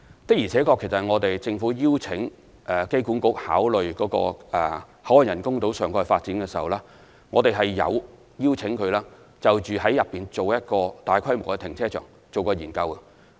的而且確，政府邀請機管局考慮口岸人工島上蓋發展時，有邀請它就建造一個大規模的停車場進行研究。